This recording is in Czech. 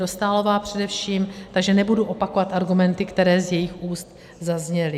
Dostálová především, takže nebudu opakovat argumenty, které z jejích úst zazněly.